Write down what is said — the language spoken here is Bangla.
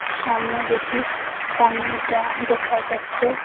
সামনে দুটি পানির ড্রাম দেখা যাচ্চে।